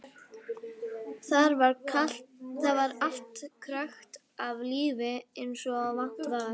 Þar var allt krökkt af lífi eins og vant var.